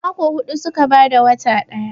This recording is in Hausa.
Mako hudu suke bada wata daya